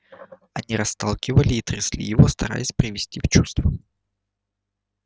они расталкивали и трясли его стараясь привести в чувство